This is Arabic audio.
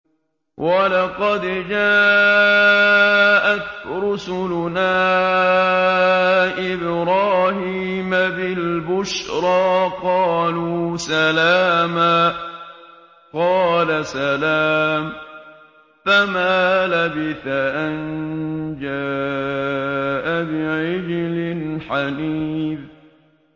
وَلَقَدْ جَاءَتْ رُسُلُنَا إِبْرَاهِيمَ بِالْبُشْرَىٰ قَالُوا سَلَامًا ۖ قَالَ سَلَامٌ ۖ فَمَا لَبِثَ أَن جَاءَ بِعِجْلٍ حَنِيذٍ